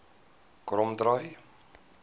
kromdraai